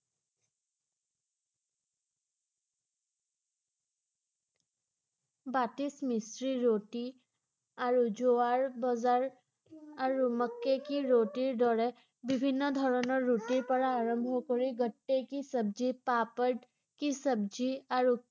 মিস্ত্ৰী, ৰুটি আৰু জোৱাৰ বজাৰ আৰু মক্কে কি ৰুটিৰ দৰে বিভিন্ন ধৰণৰ ৰুটিৰ পৰা আৰম্ভ কৰি গট্টে কি চব্জি, পাপৰ কি চব্জি আৰু